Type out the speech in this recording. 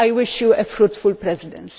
I wish you a fruitful Presidency.